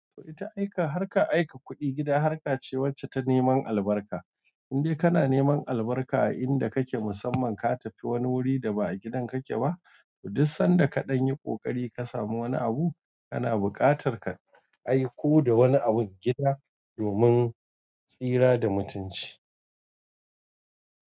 To ita aika harkar aika kuɗi gida har ka ce wacce ta neman albarka in dai kana neman albarka a inda kake musamman ka tafi wani wuri da ba a gidan kake ba to duk sanda kaɗan yi ƙoƙari ka samu wani abu kana buƙatar ka aiko da wani abun gida domin tsira da mutunci.